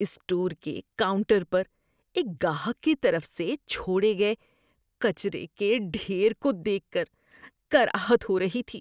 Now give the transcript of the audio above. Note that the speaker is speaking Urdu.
اسٹور کے کاؤنٹر پر ایک گاہک کی طرف سے چھوڑے گئے کچرے کے ڈھیر کو دیکھ کر کراہت ہو رہی تھی۔